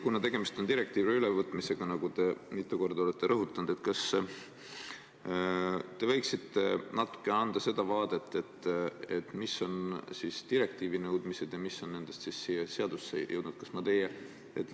Kuna tegemist on direktiivide ülevõtmisega, nagu te mitu korda olete rõhutanud, siis kas te võiksite natuke selgitada, mis on nende direktiivide nõuded, mis on nendest meie seadusesse jõudnud?